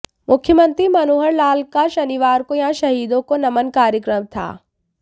मुख्यमंत्री मनोहर लाल का शनिवार को यहां शहीदों को नमन कार्यक्रम था